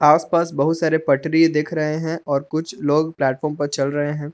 आसपास बहुत सारे पटरी दिख रहे है और कुछ लोग प्लेटफार्म पर चल रहे है।